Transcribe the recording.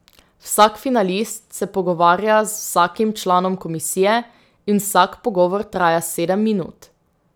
Vsak finalist se pogovarja z vsakim članom komisije in vsak pogovor traja sedem minut.